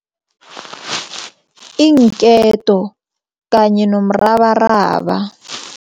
Iinketo kanye nomrabaraba.